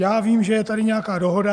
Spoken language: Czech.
Já vím, že je tady nějaká dohoda.